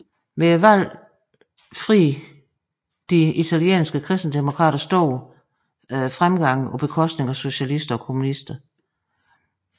Ved valget fri de italienske kristendemokrater stor fremgang på bekostning af socialisterne og kommunisterne